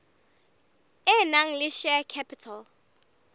e nang le share capital